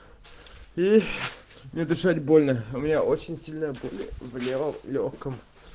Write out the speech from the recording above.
и мне дышать больно у меня очень сильная боль в левом лёгком